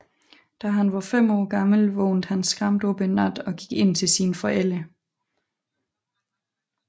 Da han var fem år gammel vågnede han skræmt op en nat og gik ind til sine forældre